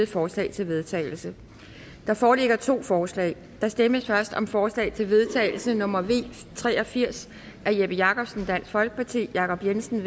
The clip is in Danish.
forslag til vedtagelse der foreligger to forslag der stemmes først om forslag til vedtagelse nummer v tre og firs af jeppe jakobsen jacob jensen